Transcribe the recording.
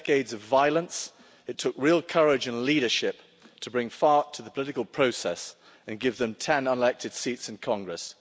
After decades of violence, it took real courage and leadership to bring FARC to the political process and give them ten elected seats in Congress.